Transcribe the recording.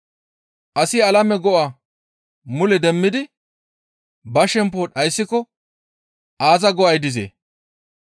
Asi alame go7a mule demmidi ba shempo dhayssiko aaza go7ay dizee?